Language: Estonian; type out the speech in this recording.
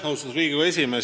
Austatud Riigikogu esimees!